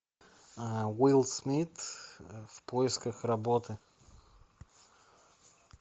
уилл смит в поисках работы